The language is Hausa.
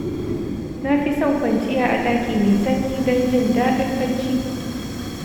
Na fi son kwanciya a ɗaki mai sanyi don jin daɗin bacci.